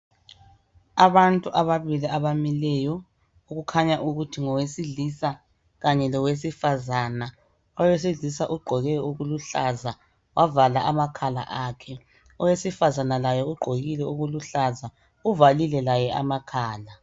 abantu ababili abamileyo okukhanya ukuthi ngowesilisa kanye lowesifazana owesilisa ugqoke okuluhlaza wavala amakhala akhe owesifazana laye ugqokile okuluhlaza uvalile laye amakhala